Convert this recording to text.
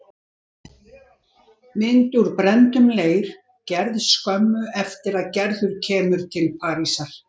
Mynd úr brenndum leir, gerð skömmu eftir að Gerður kemur til Parísar.